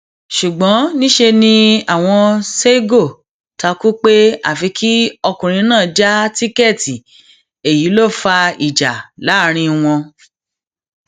ṣùgbọn níṣẹ ni àwọn seigo ta kú pé àfi kí ọkùnrin náà já tíkẹẹtì èyí ló fa ìjà láàrin wọn